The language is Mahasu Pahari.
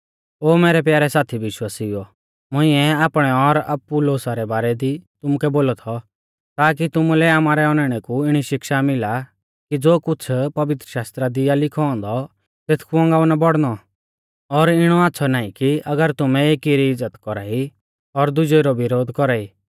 ओ मैरै प्यारै साथी विश्वासिउओ मुंइऐ आपणै और अपुल्लोसा रै बारै दी तुमुकै बोलौ थौ ताकी तुमुलै आमारै औनैणै कु इणी शिक्षा मिला कि ज़ो कुछ़ पवित्रशास्त्रा दी आ लिखौ औन्दौ तेथकु औगांऊ ना बौड़नौ और इणौ आच़्छ़ौ नाईं कि अगर तुमै एकी री इज़्ज़त कौरा ई और दुजेऊ रौ विरोधा कौरा ई